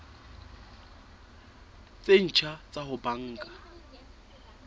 tse ntjha tsa ho banka